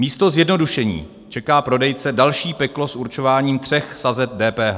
Místo zjednodušení čeká prodejce další peklo s určováním tří sazeb DPH.